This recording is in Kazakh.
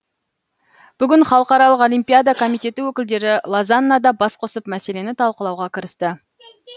бүгін халықаралық олимпиада комитеті өкілдері лозаннада бас қосып мәселені талқылауға кірісті